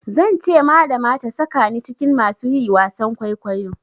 Zan ce malama ta sakani cikin masu yi wasan kwaikwayo.